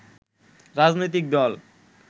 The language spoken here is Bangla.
রাজনৈতিক দল